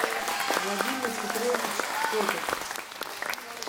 владимир петрович котов